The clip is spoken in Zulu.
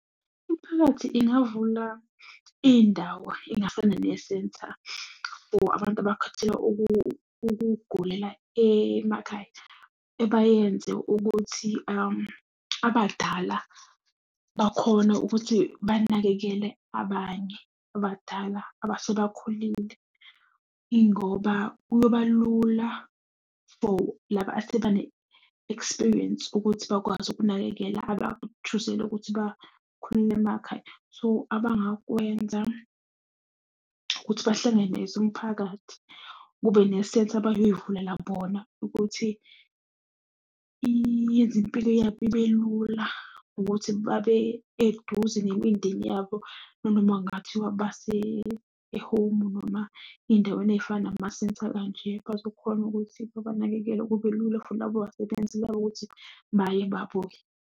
Imphakathi ingavula iy'ndawo ey'ngafana nesenta for abantu abakhethela ukugulela emakhaya. Ebayenze ukuthi abadala bakhone ukuthi banakekele abanye abadala abasebakhulile. Yingoba kuyoba lula for laba asebane-experience ukuthi bakwazi ukunakekela aba-choose-zele ukuthi bakhulele emakhaya. So abangakwenza ukuthi bahlangene as umphakathi, kube nesenta abayoyivulela bona ukuthi iyenze impilo yabo ibelula, ukuthi babe eduze nemindeni yabo. Nanoma kungathiwa base-home noma ey'ndaweni ey'fana namasenta kanje bazokhona ukuthi babanakekele, kube lula futhi labo basebenzi labo ukuthi .